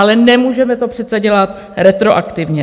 Ale nemůžeme to přece dělat retroaktivně.